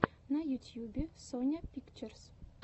на ютьюбе соня пикчерз